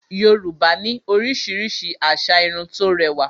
Yorùbá ní oríṣiríṣi asà Irun tó rẹwà